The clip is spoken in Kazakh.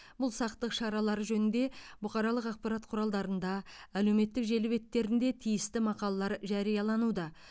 бұл сақтық шаралары жөнінде бұқаралық ақпарат құралдарында әлеуметтік желі беттерінде тиісті мақалалар жариялануда